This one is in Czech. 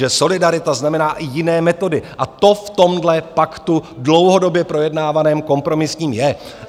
Že solidarita znamená i jiné metody, a to v tomhle paktu, dlouhodobě projednávaném, kompromisním, je.